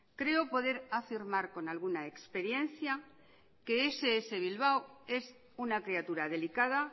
creo poder afirmar con alguna experiencia que ess bilbao es una criatura delicada